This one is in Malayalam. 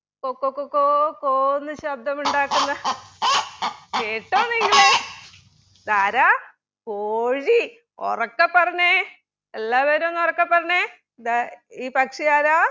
കൊക്ക കൊക്കോ കോ ന്ന് ശബ്ദമുണ്ടാക്കുന്ന കേട്ടോ നിങ്ങൾ ഇതാരാ? കോഴി ഉറക്കെ പറഞ്ഞെ എല്ലാവരും ഒന്നുറക്കെ പറഞ്ഞെ ഇതാ ഈ പക്ഷിയാരാ?